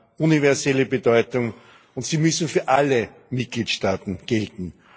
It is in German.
sie haben universelle Bedeutung und müssen für alle Mitgliedstaaten gelten.